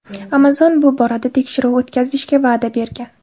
Amazon bu borada tekshiruv o‘tkazishga va’da bergan.